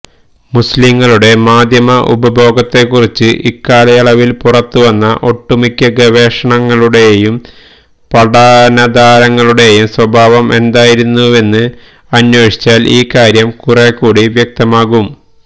മുസ്ലിംകളുടെ മാധ്യമ ഉപഭോഗത്തെക്കുറിച്ച് ഇക്കാലയളവില് പുറത്തുവന്ന ഒട്ടുമിക്ക ഗവേഷണങ്ങളുടെയും പഠനധാരകളുടെയും സ്വഭാവം എന്തായിരുന്നുവെന്ന് അന്വേഷിച്ചാല് ഈ കാര്യം കുറേക്കൂടി വ്യക്തമാകും